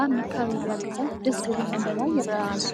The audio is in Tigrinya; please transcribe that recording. ኣብ መካበቢያ ገዛ ደስ ዝብል ዕምበባ ይርአ ኣሎ፡፡